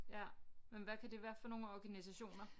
Ja men hvad kan det være for nogle organisationer